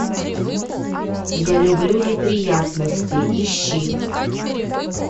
я люблю неприятности ищи